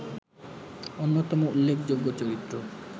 অন্যতম উল্লেখযোগ্য চরিত্র